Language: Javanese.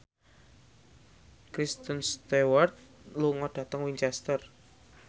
Kristen Stewart lunga dhateng Winchester